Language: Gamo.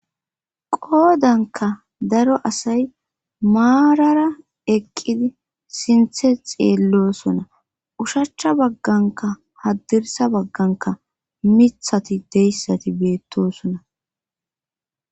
qoodanka daro asay maarara eqqidi sinthe xeellosona ushachcha bagganka haddirsa bagganka mithati deyssati beettosona